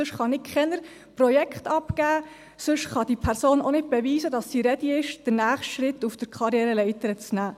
Sonst kann ich keine Projekte abgeben, sonst kann diese Person auch nicht beweisen, dass sie ready ist, den nächsten Schritt auf der Karriereleiter zu machen.